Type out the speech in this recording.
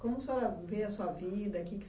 Como a senhora vê a sua vida que que